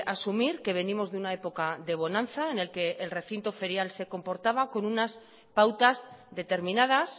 asumir que venimos de una época de bonanza en el que el recinto ferial se comportaba con unas pautas determinadas